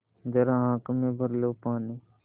ज़रा आँख में भर लो पानी